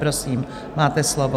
Prosím, máte slovo.